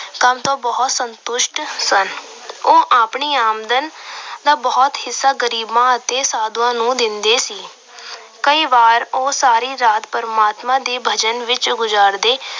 ਸਭ ਬਹੁਤ ਸੰਤੁਸ਼ਟ ਸਨ। ਉਹ ਆਪਣੀ ਆਮਦਨ ਦਾ ਬਹੁਤ ਹਿੱਸਾ ਗਰੀਬਾਂ ਅਤੇ ਸਾਧੂਆਂ ਨੂੰ ਦਿੰਦੇ ਸੀ। ਕਈ ਵਾਰ ਉਹ ਸਾਰੀ ਰਾਤ ਪਰਮਾਤਮਾ ਦੇ ਭਜਨ ਵਿੱਚ ਗੁਜਾਰਦੇ।